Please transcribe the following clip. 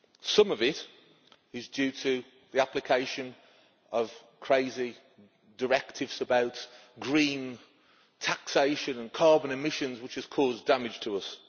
Some of it is due to the application of crazy directives about green taxation and carbon emissions, which has caused damage to us.